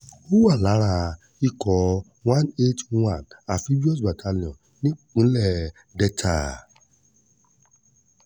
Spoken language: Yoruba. ó wà lára ikọ̀ one eight one amphibous battalion nípínlẹ̀ delta